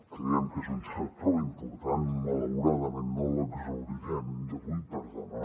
creiem que és un tema prou important malauradament no l’exhaurirem d’avui per demà